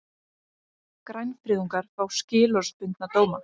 Grænfriðungar fá skilorðsbundna dóma